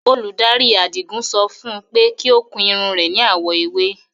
Olúdárí Àdígún sọ fún ọ̀n pẹ̀ kí o kun irun re ní awọ̀ èwè.